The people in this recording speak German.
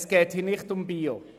Es geht hier nicht um «bio».